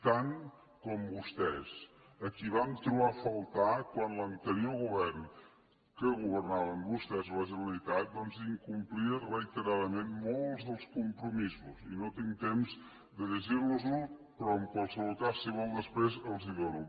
tant com vostès a qui vam trobar a faltar quan l’anterior govern que governaven vostès a la generalitat doncs incomplia reiteradament molts dels compromisos i no tinc temps de llegir los els però en qualsevol cas si vol després els els dono